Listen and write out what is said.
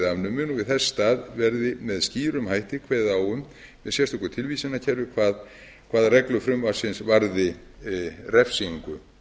afnumin og í þess stað verði með skýrum hætti kveðið á um með sérstöku tilvísanakerfi hvaða reglur frumvarpsins varði refsingu